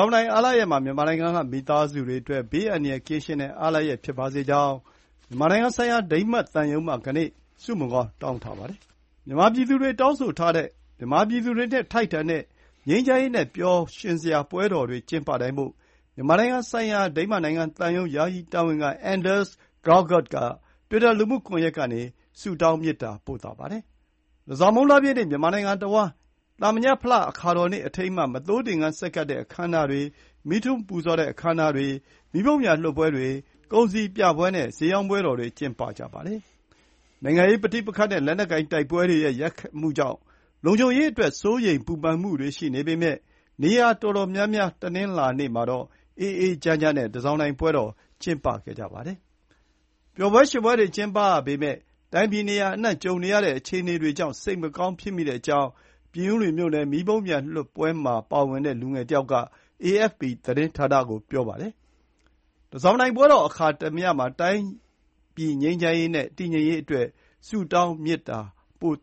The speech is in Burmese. ောင်တိုင်အားလပ်ရက်မှာ မြန်မာနိုင်ငံက မိသားစုတွေအတွက် ဘေးအန္တရာယ် ကင်းရှင်းတဲ့ အားလပ်ရက်ဖြစ်ပါစေကြောင်း မြန်မာနိုင်ငံဆိုင်ရာ ဒိန်းမတ်သံရုံးမှကနေ ဆုမွန်ကောင်းတောင်းထားပါတယ်။ မြန်မာပြည်သူတွေ တောင်းဆိုထားတဲ့ မြန်မာပြည်သူတွေနဲ့ ထိုက်တန်တဲ့ ငြိမ်းချမ်းရေးနဲ့ ပျော်ရွင်စရာပွဲတော်တွေ ကျင်းပနိုင်ဖို့ မြန်မာနိုင်ငံဆိုင်ရာ ဒိန်းမတ်နိင်ငံ သံရုံး ယာယီတာဝန်ခံ Anders L. Graugaard က တွစ်တာလှုမှုကွန်ယက်ကနေ ဆုတောင်းမေတ္တာ ပို့ပါတယ်။ တန်ဆောင်မုန်းလပြည့်နေ့ မြန်မာနိုင်ငံတဝှမ်း (သာမညဖလ အခါတော်နေ့အထိမ်းအမှတ်) မသိုးသင်္ကန်း ဆက်ကပ်တဲ့ အခမ်းအနားတွေ၊ မီးထွန်းပူဇော်တဲ့အခမ်းအနားတွေ၊ မီးပုံးပျံလွှတ်ပွဲတွေ၊ ကုန်စည်ပြပွဲနဲ့ ဈေးရောင်းပွဲတော်တွေ ကျင်းပကြပါတယ်။ နိုင်ငံရေးပဋိပက္ခနဲ့ လက်နက်ကိုင်တိုက်ပွဲတွေရဲ့ ရိုက်ခတ်မှုကြောင့် လုံခြုံရေးအတွက် စိုးရိမ်ပူပန်မှုတွေ ရှိပေမဲ့ နေရာတော်တော်များများ တနင်္လာနေ့မှာတော့ အေးအေးချမ်းချမ်းနဲ့ တန်ဆောင်တိုင်ပွဲတော်တွေ ကျင်းပကြပါတယ်။ ပျော်ပွဲရွှင်ပွဲတွေကျင်းပရပေမဲ့ တိုင်းပြည်နေရာအနှံ့ ကြုံနေရတဲ့ အခြေအနေတွေကြောင့် စိတ်မကောင်းဖြစ်မိတဲ့အကြောင်း ပြင်ဦးလွင်မြို့နယ် မီးပုံပျံလွှတ်ပွဲမှာ ပါဝင်တဲ့ လူငယ်တယောက်က AFP သတင်းဌာနကို ပြောပါတယ်။ တန်တောင်ပွဲတော်အခါသမယမှာ တိုင်းပြည်ငြိမ်းချမ်းရေးနဲ့ တည်ငြိမ်ရေးအတွက် ဆုတောင်းမေတ္တာပို့